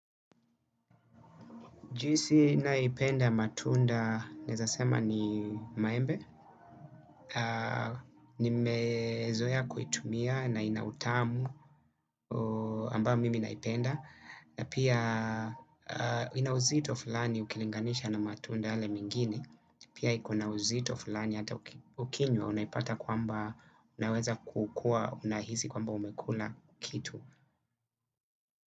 Juisi ninayoipenda matunda naezasl sema ni maembe. Nimezoea kuitumia na ina utamu ambayo mimi inaipenda. Na pia ina uzito fulani ukilinganisha na matunda yale mengine. Pia ikona uzito fulani hata ukinywa unaipata kwamba unaweza kukuwa unahisi kwamba umekula kitu.